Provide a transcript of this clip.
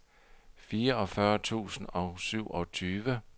fireogfyrre tusind og syvogtyve